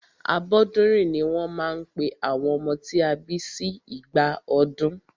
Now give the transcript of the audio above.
Abọ́dúnrìn ní wọ́n máa ń pe àwọn ọmọ tí a bí sí ìgbà ọdún.